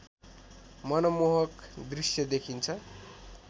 मनमोहक दृश्य देखिन्छ